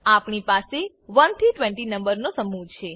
આપણી પાસે 1 થી 20 નંબરનો સમૂહ છે